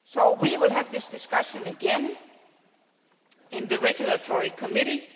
We will have this discussion again in the Regulatory Committee.